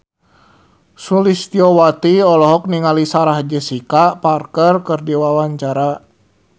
Sulistyowati olohok ningali Sarah Jessica Parker keur diwawancara